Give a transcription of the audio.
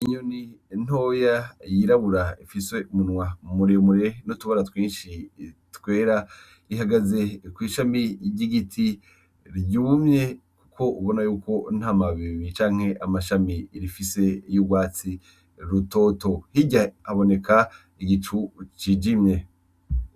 Inyoni ntoya yirabura ifise umunwa muremure n'utubara twinshi twera, ihagaze kw'ishami ry'igiti ryumye kuko ubona yuko ntamababi canke amashami rifise y'urwatsi rutoto, hirya haboneka igicu cijimye.